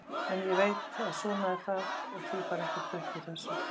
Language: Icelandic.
En ég veit að svona er það og því fær ekkert breytt úr þessu.